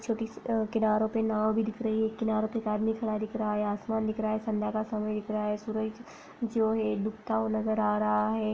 छोटी-सी अ किनारों पे नाव भी दिख रही है। एक किनारे पे एक आदमी खड़ा दिख रहा है। आसमान दिख रहा है। संध्या का समय दिख रहा है। सूरज जो है डूबता हुआ नजर आ रहा है।